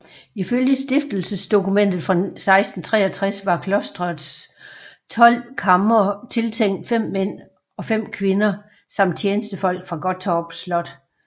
Ifølge stiftelsesdokumentet fra 1663 var klosterets tolv kamre tiltænkt fem mænd og fem kvinder samt tjenestefolk fra Gottorp Slot